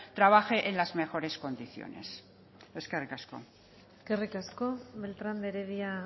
trabaje en las mejores condiciones eskerrik asko eskerrik asko beltrán de heredia